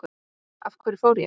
Af hverju fór ég?